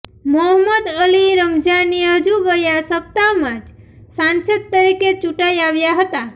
મોહમ્મદ અલી રમજાની હજુ ગયા સપ્તાહમાં જ સાંસદ તરીકે ચૂંટાઇ આવ્યા હતા